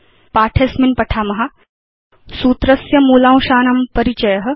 अस्मिन् पाठे वयं पठिष्याम सूत्रस्य मूलांशानां परिचय